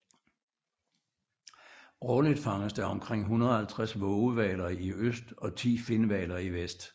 Årligt fanges der omkring 150 vågehvaler i øst og 10 finhvaler i vest